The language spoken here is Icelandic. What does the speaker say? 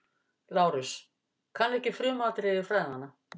LÁRUS: Kann ekki frumatriði fræðanna.